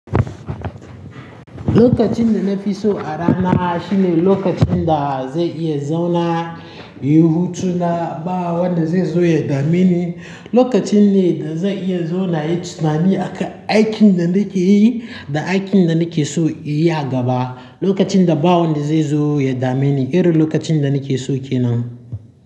Lokacin da na fi so a rana shine lokacin da zai iya zauna, yi hutu na ba wanda zai zo ya dameni. Lokacin ne da zai iya zauna inyi tunani aka aikin da nake yi da aikin da nake so inyi a gaba. Lokacin da ba wanda zai zo ya dameni, irin lokacin da nake so kenan.